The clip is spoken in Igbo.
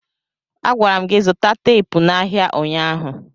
Agwara m gị zụta teepu n'ahịa ụnyaahụ!